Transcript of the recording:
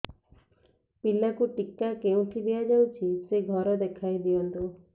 ପିଲାକୁ ଟିକା କେଉଁଠି ଦିଆଯାଉଛି ସେ ଘର ଦେଖାଇ ଦିଅନ୍ତୁ